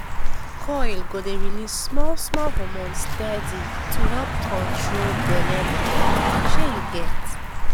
coil go dey release small-small hormone steady to help control belle matter shey u get.